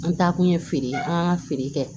An taakun ye feere ye an ka feere kɛ